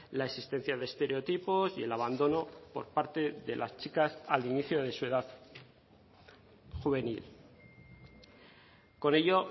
la existencia de estereotipos y el abandono por parte de las chicas al inicio de su edad juvenil con ello